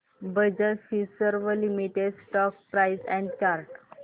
Bajaj Finserv limited stock price and chart